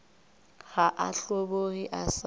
ga a hlobogwe a sa